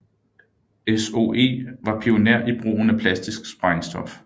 SOE var pioner i brugen af plastisk sprængstof